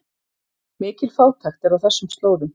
Mikil fátækt er á þessum slóðum